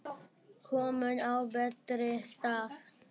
Komin á betri stað.